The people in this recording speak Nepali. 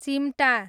चिम्टा